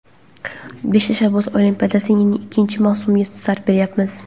"Besh tashabbus olimpiadasi"ning ikkinchi mavsumiga start beryapmiz.